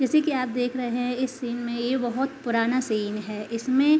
जैसे की आप देख रहे है इस सीन में यह बहोत पुराना सीन है। इस में --